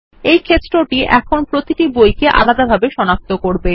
এই ক্ষেত্রটি এখন প্রতিটি বইকে আলাদাভাবে সনাক্ত করব